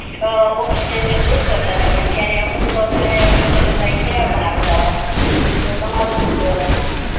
અ oxygen ની લુંટ કરતાં તા પણ અમુક સારા માણસો ઈ સેવા પણ આપતા તા તો તમારું સુ કેવું